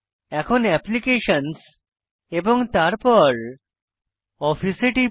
এখন অ্যাপ্লিকেশনস এবং তারপর অফিস এ টিপি